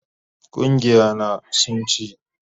Gungiya na sun ci